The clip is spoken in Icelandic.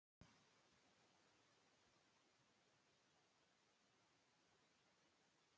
Ég hefði miklu frekar átt að keyra beint í líkhúsið.